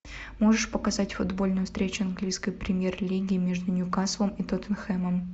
можешь показать футбольную встречу английской премьер лиги между ньюкаслом и тоттенхэмом